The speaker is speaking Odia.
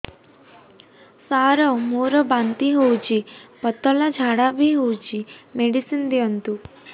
ସାର ମୋର ବାନ୍ତି ହଉଚି ପତଲା ଝାଡା ବି ହଉଚି ମେଡିସିନ ଦିଅନ୍ତୁ